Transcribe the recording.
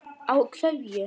Á hverju?